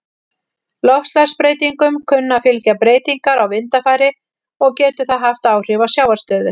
Loftslagsbreytingum kunna að fylgja breytingar á vindafari, og getur það haft áhrif á sjávarstöðu.